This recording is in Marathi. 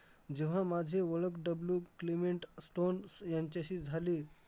जेव्हा माझी ओळख W क्लेवेन्ट स्टोन्स यांच्याशी झाली,